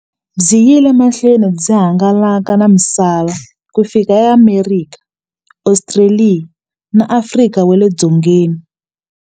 Byi yile emahlweni byi hangalaka na misava ku fika e Amerika, Ostraliya na Afrika wale dzongeni.